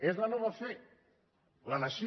és la nova fe la nació